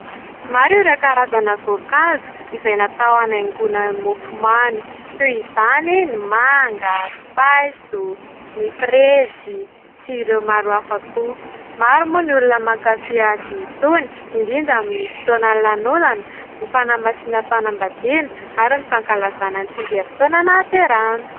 Maro ireo karazana voankazo izay natao hanaingona ny mofomamy toy izany ny manga, paiso, ny frezy sy ireo maro hafa koa. Maro moa ny olona mankafỳ azy itony indrindra amin'ny fotoanan'ny lanonana sy ny fanamasinam-panambadiana ary ny fankalazana tsingerin-taona nahaterahana.